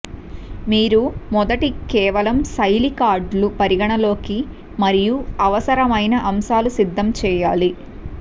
మీరు మొదటి కేవలం శైలి కార్డులు పరిగణలోకి మరియు అవసరమైన అంశాలు సిద్ధం చేయాలి